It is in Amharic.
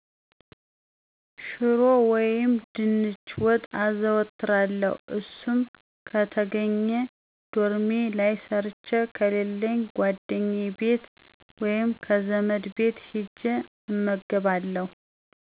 ሽሮ ወይም ድንች ወጥ አዘወትራለሁ እሱም ከተገኜ ዶርሜ ላይ ሠርቸ ከሌለኝ ጓደኛየ ቤት ወይም ከዘመድ ቤት ሂጀ እመገባለሁ።